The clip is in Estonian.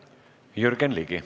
Jürgen Ligi.